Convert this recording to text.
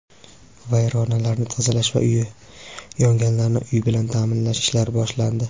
vayronalarni tozalash va uyi yonganlarni uy bilan ta’minlash ishlari boshlandi.